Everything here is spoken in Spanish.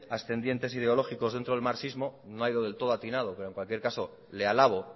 ascendientes ideológicos dentro del marxismo no ha ido del todo atinado pero en cualquier caso le alabo